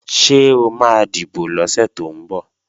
Ṣé o máa dìbò lọ́sẹ̀ tó ń bọ̀?